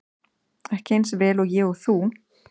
Ekki eins vel og ég og þú.